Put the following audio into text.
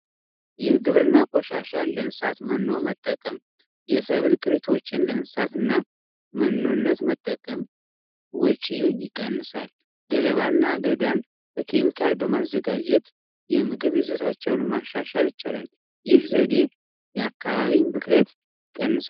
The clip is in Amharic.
የግብርና ቆሻሻ ለእንስሳት መኖ መጠቀም የሰብል ቅርቶችን ለእንስሳትና መኖነት መጠቀም ወጭን ይቀንሳል። ገለባና አገዳን በኬሚካል በማዘጋጀት የምግብ ይዞታቸውን ማሻሻል ይቻላል ይህ ዘዴ የአካባቢ ብክለት ይቀንሳል ።